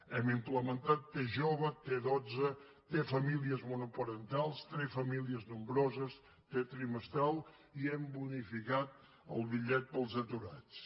hem implementat la t jove la t dotze la t famílies monoparentals la t famílies nombroses la t trimestral i hem bonificat el bitllet per als aturats